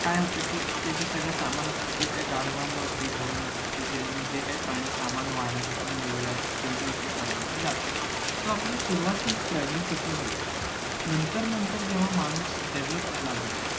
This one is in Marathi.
काय होत कि ते जे सगळं सामान असत ते त्या गाढवांवरती घोड्यांवरती ते जे जे काही प्राणी सामान वाहण्यासाठी नेलेलं असते त्याच्यावरती टांगून ते जातात so आपली सुरवातच travelling पासन झाले नंतर नंतर जेव्हा माणूस develop झाला.